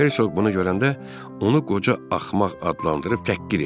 Hersoq bunu görəndə onu qoca axmaq adlandırıb təhqir etdi.